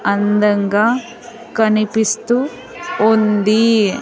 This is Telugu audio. అందంగా కనిపిస్తూ ఉంది.